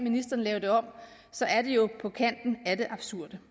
lave den om så er det jo på kanten af det absurde